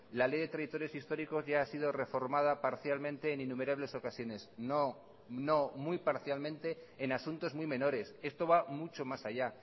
la ley de territorios históricos ya ha sido reformada parcialmente en innumerables ocasiones no no muy parcialmente en asuntos muy menores esto va mucho más allá